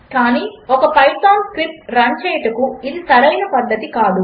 కాని ఒక Python script run చేయుటకు ఇది సరైన పద్ధతి కాదు